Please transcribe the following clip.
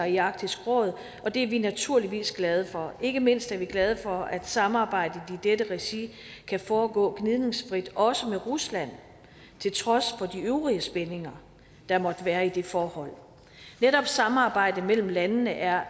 i arktisk råd og det er vi naturligvis glade for ikke mindst er vi glade for at samarbejdet i dette regi kan foregå gnidningsfrit også med rusland til trods for de øvrige spændinger der måtte være i det forhold netop samarbejde mellem landene er